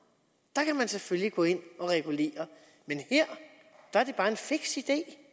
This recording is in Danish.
der kan man selvfølgelig gå ind og regulere men her er det bare en fiks idé